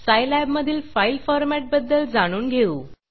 सायलॅबमधील file format बद्दल जाणून घेऊ